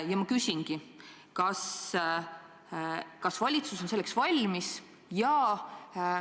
Ja ma küsingi: kas valitsus on selleks valmis?